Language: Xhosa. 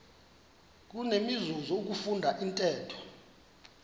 kunenzuzo ukufunda intetho